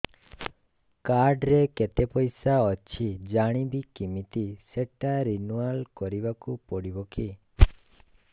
card ରେ କେତେ ପଇସା ଅଛି ଜାଣିବି କିମିତି ସେଟା ରିନୁଆଲ କରିବାକୁ ପଡ଼ିବ କି